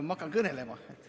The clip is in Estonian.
Ma hakkan kõnelema.